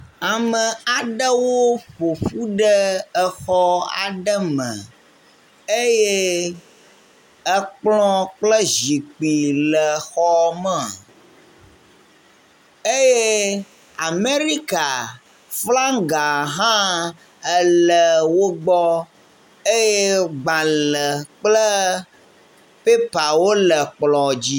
Ame aɖewo ƒoƒu ɖe xɔ aɖe me ekplɔ kple zikpi le xɔme eye amerika flaŋga hã ele wógbɔ eye gbale kple pɛpawo le kplɔ dzi